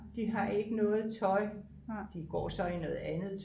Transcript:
de har ikke noget tøj de går så i noget andet